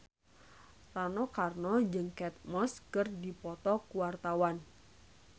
Rano Karno jeung Kate Moss keur dipoto ku wartawan